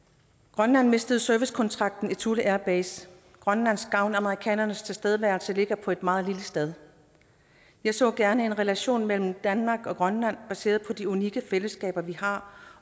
grønland mistede servicekontrakten for thule air base grønlands gavn af amerikanernes tilstedeværelse kan ligge på et meget lille sted jeg så gerne en relation mellem danmark og grønland baseret på de unikke fællesskaber vi har